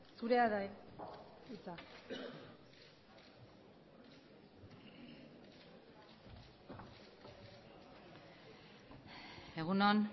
zurea da hitza egun on